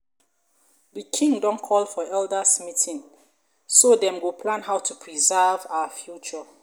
our king don call for elders meeting so them go plan how to preserve our culture